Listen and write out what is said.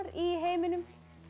í heiminum